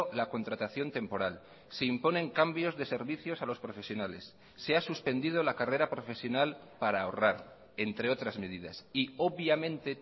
la contratación temporal se imponen cambios de servicios a los profesionales se ha suspendido la carrera profesional para ahorrar entre otras medidas y obviamente